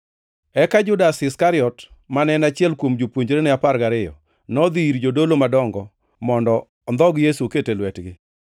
Eka Judas Iskariot, mane en achiel kuom jopuonjrene apar gariyo, nodhi ir jodolo madongo mondo ondhog Yesu oket e lwetgi.